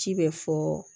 Ci bɛ fɔ